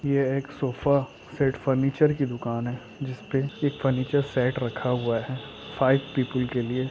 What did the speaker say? यह एक sofa set furniture की दुकान है जिसपे एक फर्नीचर सेट रखा हुआ है फाइव पीपल के लिए--